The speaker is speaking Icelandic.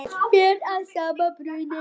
Allt ber að sama brunni.